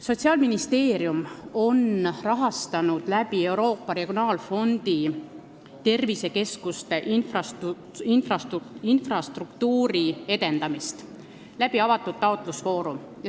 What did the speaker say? Sotsiaalministeerium on Euroopa regionaalfondi kaudu rahastanud tervisekeskuste infrastruktuuri edendamist avatud taotlusvooru abil.